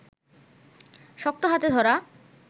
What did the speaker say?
শক্ত হাতে ধরা